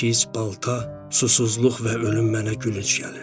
Çəkic, balta, susuzluq və ölüm mənə gülünc gəlirdi.